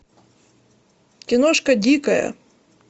киношка дикая